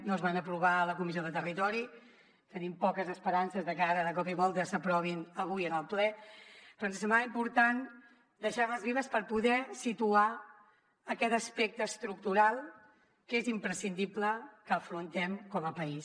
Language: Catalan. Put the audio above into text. no es van aprovar a la comissió de territori tenim poques esperances de que ara de cop i volta s’aprovin avui en el ple però ens semblava important deixar les vives per poder situar aquest aspecte estructural que és imprescindible que afrontem com a país